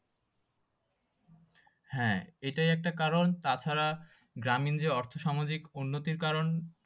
হ্যাঁ এটাই একটা কারণ তাছাড়া গ্রামীণ যে অর্থ সামাজিক উন্নতির কারণ।